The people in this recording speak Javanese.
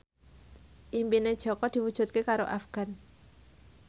impine Jaka diwujudke karo Afgan